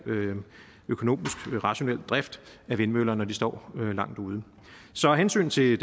økonomisk og rationel drift af vindmøller når de står langt ude så af hensyn til